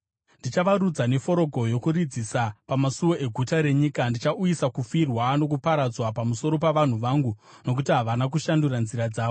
Ndichavarudza neforogo yokurudzisa, pamasuo eguta renyika. Ndichauyisa kufirwa nokuparadzwa pamusoro pavanhu vangu, nokuti havana kushandura nzira dzavo.